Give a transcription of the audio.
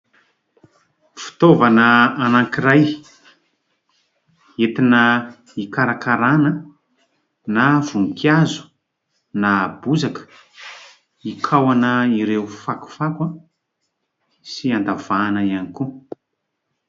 Fitaovana anankiray : entina hikarakarana na voninkazo na bozaka hikaohana ireo fakofako sy an-davahana ihany koa.